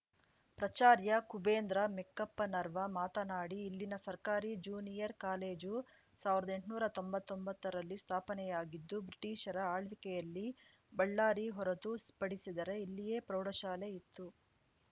ಪ್ರಚಾರ್ಯ ಕುಬೇಂದ್ರ ಮೆಕ್ಕಪ್ಪನವರ್‌ ಮಾತನಾಡಿ ಇಲ್ಲಿನ ಸರ್ಕಾರಿ ಜೂನಿಯರ್‌ ಕಾಲೇಜು ಸಾವಿರ್ದಾ ಎಂಟ್ನೂರಾ ತೊಂಬತ್ತೊಂಬತ್ತರಲ್ಲಿ ಸ್ಥಾಪನೆಯಾಗಿದ್ದು ಬ್ರಿಟಿಷರ ಆಳ್ವಿಕೆಯಲ್ಲಿ ಬಳ್ಳಾರಿ ಹೊರತು ಪಡಿಸಿದರೆ ಇಲ್ಲಿಯೇ ಪ್ರೌಢಶಾಲೆ ಇತ್ತು